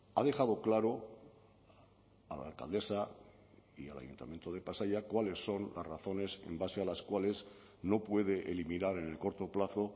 ha dejado claro a la alcaldesa y al ayuntamiento de pasaia cuáles son las razones en base a las cuales no puede eliminar en el corto plazo